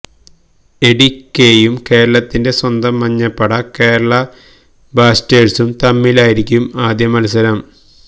എടിക്കെയും കേരളത്തിന്റെ സ്വന്തം മഞ്ഞപ്പട കേരള ബ്ലാസ്റ്റേഴ്സും തമ്മിലായിരിക്കും ആദ്യ മത്സരം